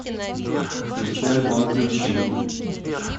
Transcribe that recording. включи альбом ключи